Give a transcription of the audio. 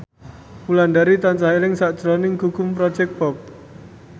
Wulandari tansah eling sakjroning Gugum Project Pop